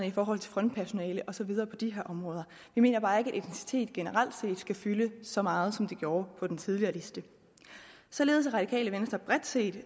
i forhold til frontpersonale og så videre på de her områder vi mener bare ikke at etnicitet generelt set skal fylde så meget som det gjorde på den tidligere liste således er radikale venstre bredt set